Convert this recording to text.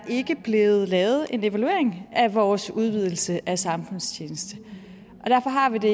blevet lavet en evaluering af vores udvidelse af samfundstjeneste derfor har vi det